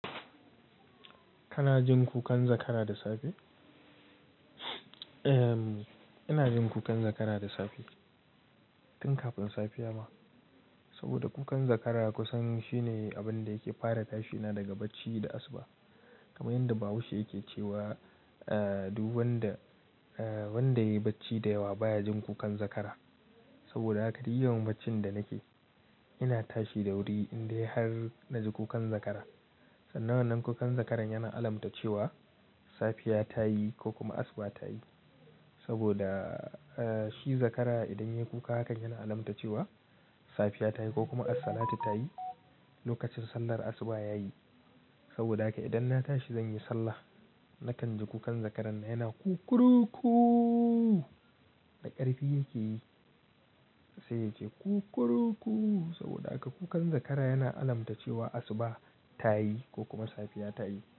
Kana jin kukan zakara da safe? Em, ina jin kukan zakara da safe tun kafin safiya ma. Saboda kukan zakara kusan shine abin da yake fara tashina daga bacci da asuba. Kamar yadda Bahaushe yake cewa, ah, duban da, ah, wanda yayi bacci da yawa baya jin kukan zakara. Saboda haka duk yawan baccin da nake, ina tashi da wuri in dai har na ji kukan zakara. Sannan wannan kukan zakaran yana alamta cewa safiya ta yi ko kuma asuba ta yi. Saboda, ah, shi zakara idan ya kuka hakan yana alamta cewa safiya ta yi ko kuma assalatu ta yi, lokacin sallar asuba ya yi. Saboda haka idan na tashi zan yi sallah, nakan ji kukan zakaran yana "kukuruku" da ƙarfi yake yi, sai ya ce "kukuruku." Saboda haka kukan zakara yana alamta cewa asuba ta yi ko kuma safiya ta yi.